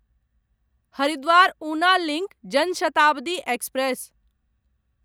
Haridwar Una link Jan Shatabdi express